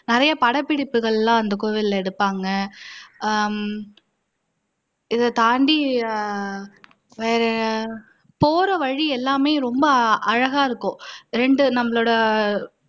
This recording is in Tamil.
நிறைய படப்பிடிப்புகள் எல்லாம் அந்த கோவில்ல எடுப்பாங்க ஹம் இதைத்தாண்டி வேற போற வழி எல்லாமே ரொம்ப அழகா இருக்கும் ரெண்டு நம்மளோட